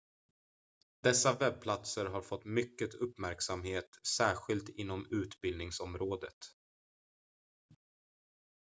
dessa webbplatser har fått mycket uppmärksamhet särskilt inom utbildningsområdet